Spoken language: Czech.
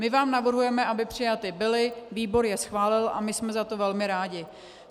My vám navrhujeme, aby přijaty byly, výbor je schválil a my jsme za to velmi rádi.